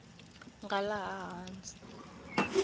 nga laha hansi ivi u